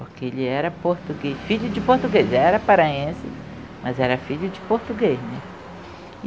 Porque ele era português, filho de português, era paraense, mas era filho de português, né?